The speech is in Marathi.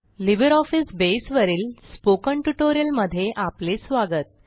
लिब्रिऑफिस बसे वरील स्पोकन ट्युटोरियल मध्ये आपले स्वागत